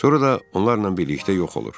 Sonra da onlarla birlikdə yox olur.